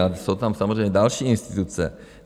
A jsou tam samozřejmě další instituce.